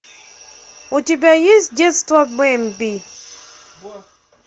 у тебя есть детство бемби